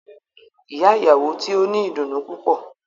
Iya iyawo ti o ni idunnu pupọ